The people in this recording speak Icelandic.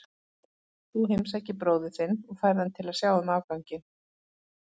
Þú heimsækir bróður þinn og færð hann til að sjá um afganginn.